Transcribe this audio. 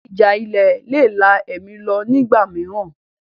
Ìjà ilẹ̀ le è la ẹ̀mí lọ ní ìgbà mìíràn